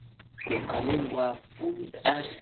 Bariis iyo kalluun waa fuud aad u wanaagsan.